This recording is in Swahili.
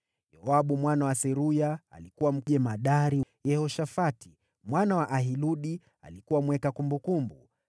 Yoabu mwana wa Seruya alikuwa jemadari wa jeshi; Yehoshafati mwana wa Ahiludi alikuwa mweka kumbukumbu;